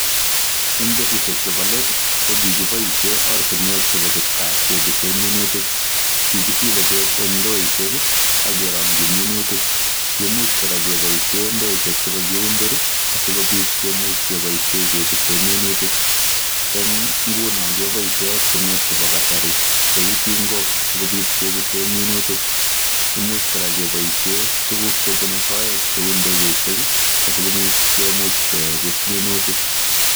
Eng betusiek chebo let kokikiboisien ortinwek chebo kipkaa kekipisen minutik. Kikisile beek en ndoisiek ak kerongyi minutik. Kiimuch kora keboisien ndoisiek che kakikundur sigopit kemuch keboisie kepise minutik. Eng nguno keboisiek ortinwek chebo kasari cheu tingok sikopit kepise minutik. Imuch kora keboisie tuguk chebune soet cheu ndegeisiek asigopit kemuch kepis minutik.